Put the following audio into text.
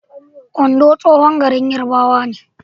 Ondo tsohon garin Yarbawa ne.